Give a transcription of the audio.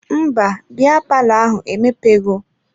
Mba, biya palọ ahụ emepe ghọọ.